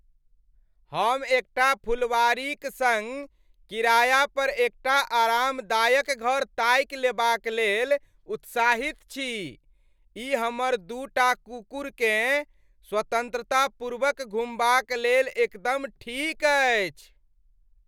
हम एकटा फुलवाड़ीक सङ्ग किराया पर एकटा आरामदायक घर ताकि लेबाक लेल उत्साहित छी, ई हमर दूटा कुकुरकेँ स्वतंत्रतापूर्वक घुमबाक लेल एकदम ठीक अछि।